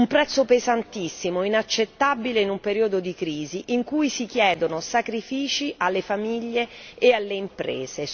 un prezzo pesantissimo, inaccettabile in un periodo di crisi in cui si chiedono sacrifici alle famiglie e alle imprese.